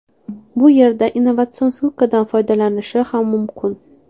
Bu yerda innovatsion sikldan foydalanishi ham mumkin.